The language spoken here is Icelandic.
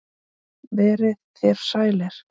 Verið þér sælir.